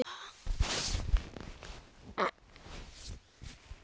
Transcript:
Hátt uppi.